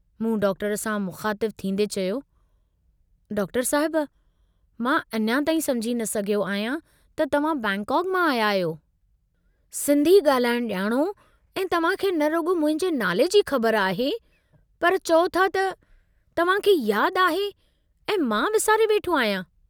मूं डॉक्टर सां मुख़ातिबु थींदें चयो, डॉक्टर साहिब मां अञा ताईं समुझी न सघियो आहियां त तव्हां बैंकाक मां आया आहियो, सिन्धी गाल्हाइण जाणो ऐं तव्हांखे न रुग्रो मुंहिंजे नाले जी ख़बर आहे पर चओ था त तव्हां खे याद आहे ऐं मां विसारे वेठो आहियां?